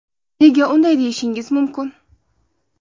Nega unday deyishishingiz mumkin.